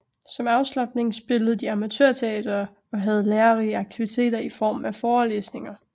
Som afslapning spillede de amatørteater og havde lærerige aktiviteter i form af forelesninger